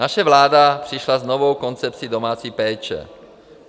Naše vláda přišla s novou koncepcí domácí péče.